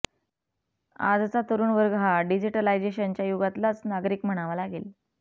आजचा तरूण वर्ग हा डिजीटलायझेशनच्या युगातलाच नागरिक म्हणावा लागेल